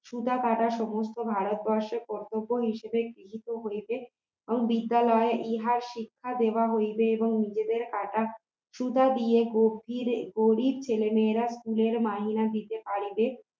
সুতা কাটা সমস্ত ভারত বর্ষ কর্তব্য হিসেবে গৃহীত হইবে বিদ্যালয়ে ইহার শিক্ষা দেওয়া হইবে এবং নিজেদের কাটা সুতা দিয়ে গরিব গরিব ছেলেমেয়েরা school র মাহিনা দিতে পারিবে